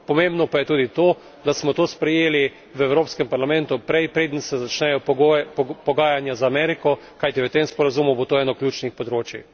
Pomembno pa je tudi to, da smo to sprejeli v Evropskem parlamentu prej, preden se začnejo pogajanja z Ameriko, kajti v tem sporazumu bo to eno od ključnih področij.